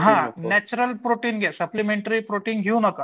हां natural protein घ्या supplementary protein घेऊ नका.